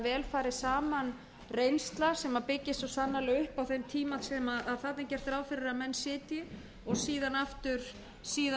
vel fari saman reynsla sem byggist svo sannarlega upp á þeim tíma sem þarna er gert ráð fyrir að menn sitji